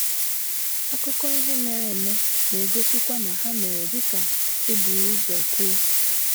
Akụkọ ihe mere eme na - egosikwa na ha mere dị ka e buru ụzọ kwuo.